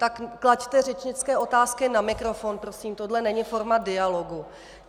Tak klaďte řečnické otázky na mikrofon, prosím, tohle není forma dialogu.